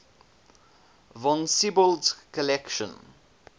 von siebold's collection